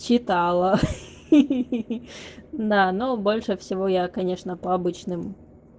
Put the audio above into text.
читала да но больше всего я конечно по обычным